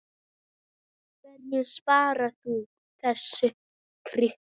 Hvernig svarar þú þessari krítík?